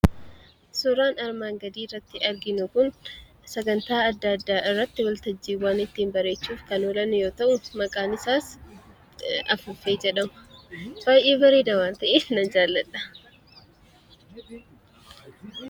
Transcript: Suuraan armaan gadii irratti arginu kun sagantaa adda addaa irratti waltajjiiwwan ittiin bareechuuf kan oolan yoo ta'u, maqaan isaas afuuffee jedhama. Baay'ee bareeda waan ta'eef nan jaalladha.